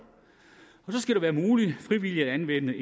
så skal det være muligt frivilligt at anvende